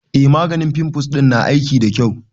E, maganin fimfuls ɗin na aiki da kyau.